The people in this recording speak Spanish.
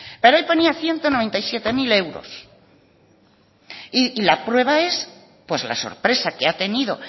pero ahí ponía ciento noventa y siete mil euros y la prueba es la sorpresa que ha tenido